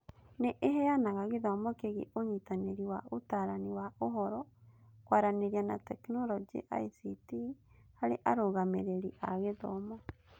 Nĩ ĩheanaga gĩthomo kĩgiĩ ũnyitanĩri wa Ũtaarani wa Ũhoro, Kwaranĩria na Teknoroji (ICT) harĩ arũgamĩrĩri a gĩthomo.